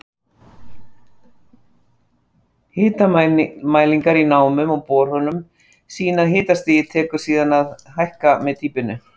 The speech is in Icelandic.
Hitamælingar í námum og borholum sýna að hitastigið tekur síðan að hækka með dýpinu.